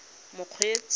mokgweetsi